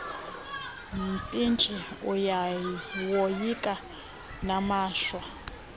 mpintshi uyawoyika namashwa